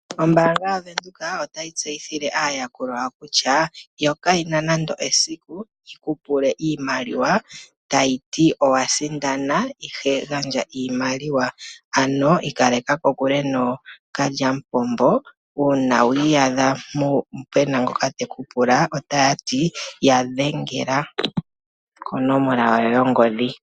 Ombaanga yaVenduka otayi tseyithile aayakulwa yawo kutya yo kayena nando esiku yikupule iimaliwa tayiti owasindana ihe gandja iimaliwa. Ano ikaleka kokule nookalyamupombo uuna wiiyadha pena ngoka tekupula otaya ti ya dhengela konomola yawo yongodhi.